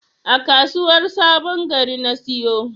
A kasuwar sabon Gari na siyo.